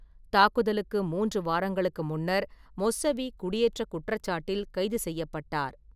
தாக்குதலுக்கு மூன்று வாரங்களுக்கு முன்னர் மொஸ்ஸவீ குடியேற்றக் குற்றச்சாட்டில் கைது செய்யப்பட்டார்.